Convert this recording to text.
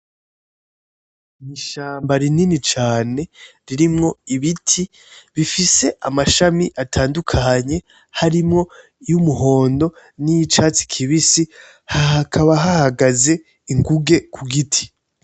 Ni ishamba rinini cane ririmwo ibiti bifise amashami atandukanye harimwo y'umuhondo niy'icatsi kibisi hakaba hahagaze inguge ku giti.